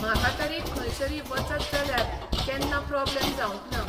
म्हाका तरी खंयसरी वचत जाल्यार केन्ना प्रोब्लम जावंक ना.